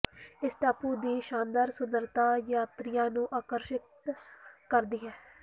ਇਸ ਟਾਪੂ ਦੀ ਸ਼ਾਨਦਾਰ ਸੁੰਦਰਤਾ ਯਾਤਰੀਆਂ ਨੂੰ ਆਕਰਸ਼ਿਤ ਕਰਦੀ ਹੈ